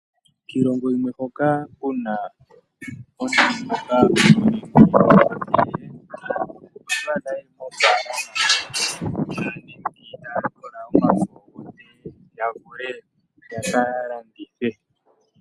Kilongo yimwe hoka kuna uunamapya wa simanekwa nomiloka dhili nawa otwadha aantu yeli mo falama talikola omafo gawo yaka ipaluthe nenge yaka landithe yavule oku imonena iiyemo.